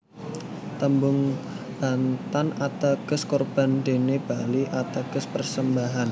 Tembung Bantan ateges Korban dene Bali ateges persembahan